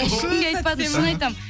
ешкімге айтпадым шын айтамын